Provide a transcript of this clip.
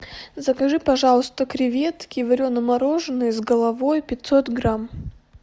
закажи пожалуйста креветки варено мороженые с головой пятьсот грамм